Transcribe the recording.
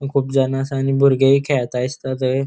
अ खूब जाना असा आणि बुर्गेय खेळता दिसता थय.